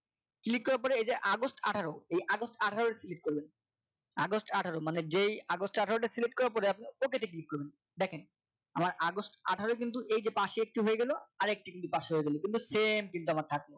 click করার পরে এই যে আগস্ট আঠারো আগস্ট আঠারো টি click করবে আগস্ট আঠারো মানে যেই আগস্ট আঠারোটি select করার পরে আপনি ok তে click করুন দেখেন আমার আগস্ট আঠারো কিন্তু এই যে পাশে একটু হয়ে গেল আর এক degree পাশে হয়ে গেল কিন্তু same চিন্তা আমার থাকলো